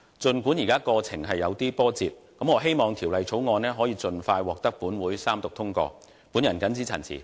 儘管現時的過程有些波折，但我希望《條例草案》可以盡快獲本會三讀通過。